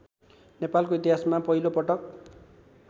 नेपालको इतिहासमा पहिलोपटक